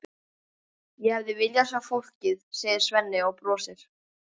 Ég hefði viljað sjá fólkið, segir Svenni og brosir.